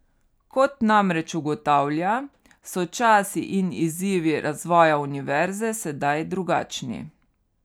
Kot namreč ugotavlja, so časi in izzivi razvoja univerze sedaj drugačni.